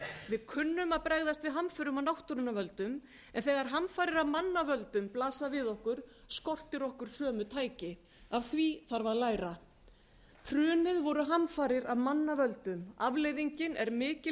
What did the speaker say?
við kunnum að bregðast við hamförum af náttúrunnar völdum en þegar hamfarir af manna völdum blasa við okkur skortir okkur sömu tæki af því þarf að læra hrunið voru hamfarir af manna völdum afleiðingin er mikil